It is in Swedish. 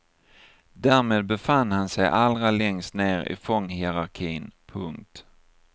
Därmed befann han sig allra längst ned i fånghierarkin. punkt